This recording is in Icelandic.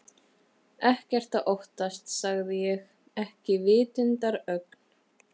Ekkert að óttast sagði ég, ekki vitundarögn